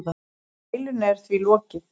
Deilunni er því lokið.